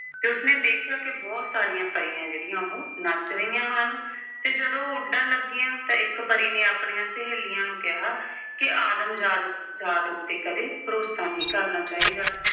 ਤੇ ਉਸਨੇ ਦੇਖਿਆ ਕਿ ਬਹੁਤ ਸਾਰੀਆਂ ਪਰੀਆਂ ਜਿਹੜੀਆਂ ਉਹ ਨੱਚ ਰਹੀਆਂ ਹਨ ਤੇ ਜਦੋਂ ਉਹ ਉੱਡਣ ਲੱਗੀਆਂ ਤਾਂ ਇੱਕ ਪਰੀ ਨੇ ਆਪਣੀਆਂ ਸਹੇਲੀਆਂ ਨੂੰ ਕਿਹਾ ਕਿ ਆਦਮ ਜਾਤ ਅਹ ਜਾਤ ਉੱਤੇ ਕਦੇ ਭਰੋਸਾ ਨਹੀਂ ਕਰਨਾ ਚਾਹੀਦਾ।